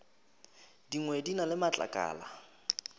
dingwe di na le matlakala